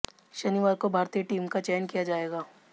शनिवार को भारतीय टीम का चयन किया जाएगा